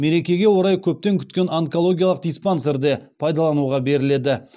мерекеге орай көптен күткен онкологиялық диспансер де пайдалануға беріледі